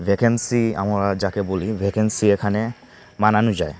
Vacancy আমরা যাকে বলি ভ্যাকেন্সি এখানে মানানো যায়।